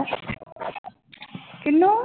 ਕਿਹਨੂੰ?